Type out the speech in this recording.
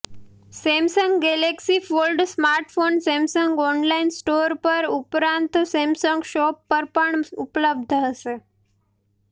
Samsung galaxy fold smartphone Samsung online store ઉપરાંત Samsung shop પર પણ ઉપલબ્ધ હશે